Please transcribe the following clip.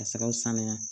Ka fɛɛrɛw sanuya